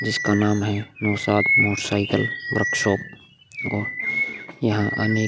जिसका नाम है नौशाद मोटरसाइकिल वर्कशॉप और यहाँ अनेक --